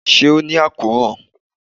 ṣe o ni akoran?